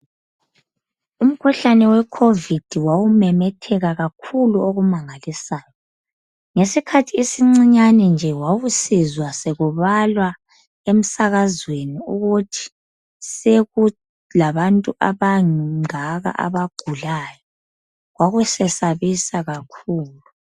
Umkhuhlane we"Covid" wawumemethela kakhulu okumangalisayo. Ngesikhathi esincinyane nje wawusizwa sekubalwa emsakazweni ukuthi sekulabantu abangaka abagulayo. Kwakusesabisa kakhulu.